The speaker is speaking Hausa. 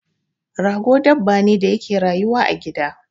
Rago dabba ne da yake rayuwa a gida